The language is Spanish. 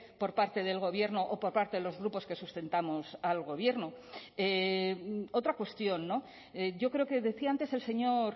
por parte del gobierno o por parte de los grupos que sustentamos al gobierno otra cuestión yo creo que decía antes el señor